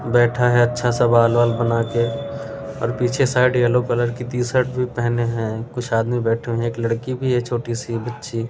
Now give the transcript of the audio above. बैठा है अच्छा सा बाल-वाल बना के और पीछे साइड येलो कलर की टीशर्ट भी पहने हैं कुछ आदमी बैठे हुए हैं एक लड़की भी हैछोटी सी बच्ची --